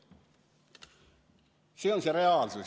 See on see reaalsus.